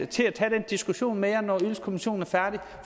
til at tage den diskussion med jer når ydelseskommissionen er færdig